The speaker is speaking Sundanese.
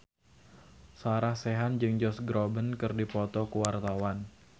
Sarah Sechan jeung Josh Groban keur dipoto ku wartawan